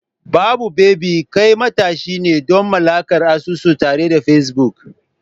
Babu baby, kai matashi ne don mallakar asusu tare da Facebook.